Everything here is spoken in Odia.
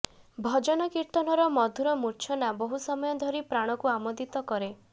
ଭଜନ କୀର୍ତ୍ତନର ମଧୁର ମୂର୍ଚ୍ଛନା ବହୁ ସମୟ ଧରି ପ୍ରାଣକୁ ଆମୋଦିତ କରେ